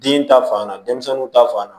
Den ta fan na denmisɛnninw ta fan na